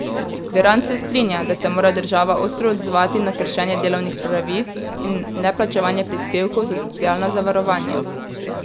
Virant se strinja, da se mora država ostro odzvati na kršenje delovnih pravic in neplačevanje prispevkov za socialna zavarovanja.